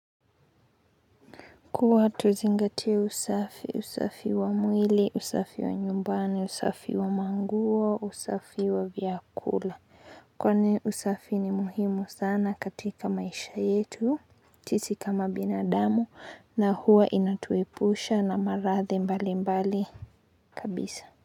Kuwa tuzingatie usafi, usafi wa mwili, usafi wa nyumbani, usafi wa manguo, usafi wa vyakula. Kwani usafi ni muhimu sana katika maisha yetu, sisi kama binadamu na huwa inatuepusha na maradhi mbali mbali kabisa.